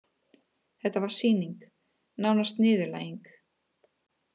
Þetta var sýning, nánast niðurlæging.